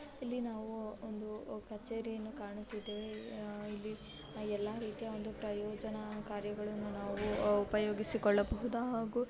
ಇಲ್ಲಿ ನಾವು ಒಂದು ಕಚೇರಿಯನ್ನು ಕಾಣುತ್ತಿದ್ದೇವೆ ಇಲ್ಲಿ ಎಲ್ಲ ರೀತಿಯ ಒಂದು ಪ್ರಯೋಜನಕಾರಿಗಳನ್ನು ನಾವು ಉಪಯೋಗಿಸಿಕೊಳ್ಳಬಹುದು ಹಾಗೂ--